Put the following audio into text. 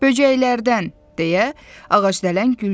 Böcəklərdən." deyə ağacdələn güldü.